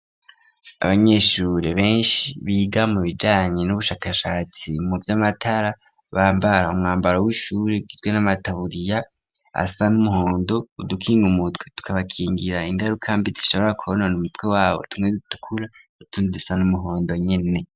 Abanyeshure benshi biga mu bijanye n'ubushakashatsi mu vy'amatara bambara umwambaro w'ishuri ugizwe n'amataburiya asa n'umuhondo, udukinga umutwe tukabakingira ingaruka mbi zishobora kwonona umutwe wabo, tumwe dutukura utundi dusa n'umuhondo nyene.